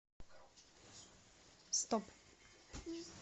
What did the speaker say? стоп